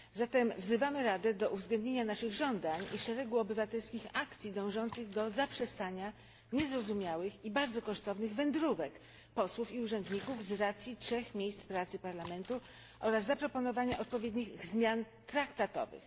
Zatem wzywamy Radę do uwzględnienia naszych żądań i szeregu obywatelskich akcji dążących do zaprzestania niezrozumiałych i bardzo kosztownych wędrówek posłów i urzędników z racji trzech miejsc pracy Parlamentu oraz zaproponowania odpowiednich zmian traktatowych.